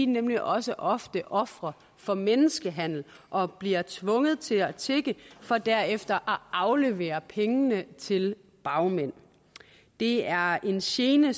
nemlig også ofte ofre for menneskehandel og bliver tvunget til at tigge for derefter at aflevere pengene til bagmænd det er en gene